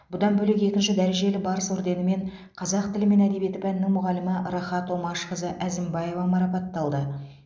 бұдан бөлек екінші дәрежелі барыс орденімен қазақ тілі мен әдебиеті пәнінің мұғалімі рахат омашқызы әзімбаева марапатталды